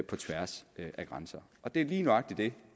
på tværs af grænser og det er lige nøjagtig det